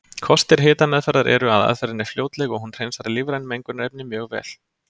Kostir hitameðferðar eru að aðferðin er fljótleg og hún hreinsar lífræn mengunarefni mjög vel.